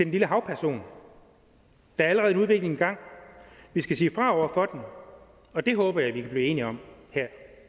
lille havperson der er allerede en udvikling i gang vi skal sige fra over for og det håber jeg vi kan blive enige om her